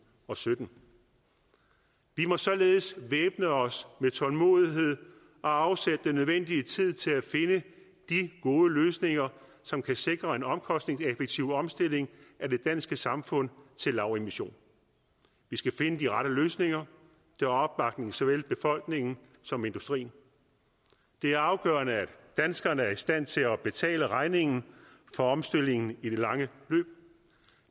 og sytten vi må således væbne os med tålmodighed og afsætte den nødvendige tid til at finde de gode løsninger som kan sikre en omkostningseffektiv omstilling af det danske samfund til lavemission vi skal finde de rette løsninger der har opbakning i såvel befolkningen som i industrien det er afgørende at danskerne er i stand til at betale regningen for omstillingen i det lange løb